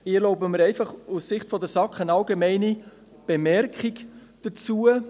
Ich erlaube mir einfach aus Sicht der SAK eine allgemeine Bemerkung dazu.